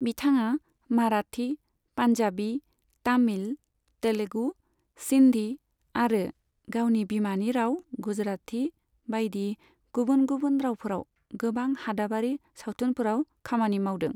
बिथाङा माराठी, पान्जाबी, तामिल, तेलुगु, सिन्धी आरो गावनि बिमानि राव गुजराती बायदि गुबुन गुबुन रावफोराव गोबां हादाबारि सावथुनफोराव खामानि मावदों।